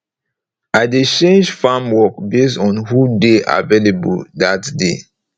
i dey change farm work base on who dey available dat day